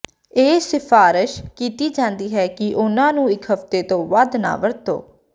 ਇਹ ਸਿਫਾਰਸ਼ ਕੀਤੀ ਜਾਂਦੀ ਹੈ ਕਿ ਉਹਨਾਂ ਨੂੰ ਇੱਕ ਹਫ਼ਤੇ ਤੋਂ ਵੱਧ ਨਾ ਵਰਤੋ